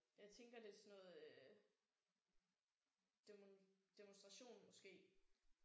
Jeg tænker det sådan noget øh demo demonstration måske